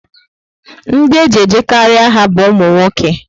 Ndị eji ejekarị agha bu umunwoke